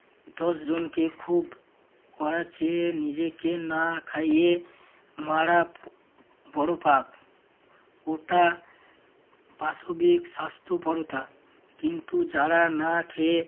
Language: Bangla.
দশজনকে খুব করাচ্ছে। নিজেকে না খাইয়ে মারা বড় পাপ। ওটা পাশবিক স্বাস্থ্যপরতা কিন্তু যারা না খেয়ে